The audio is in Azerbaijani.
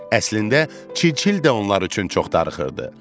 Əslində çil-çil də onlar üçün çox darıxırdı.